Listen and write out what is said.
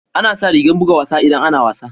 Ana sa rigan buga wasa idan ana wasa.